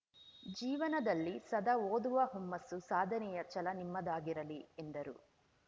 ಜೀವನದಲ್ಲಿ ಸದಾ ಓದುವ ಹುಮ್ಮಸ್ಸು ಸಾಧನೆಯ ಛಲ ನಿಮ್ಮದಾಗಿರಲಿ ಎಂದರು